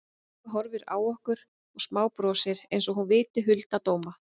Sigga horfir á okkur og smábrosir einsog hún viti hulda dóma.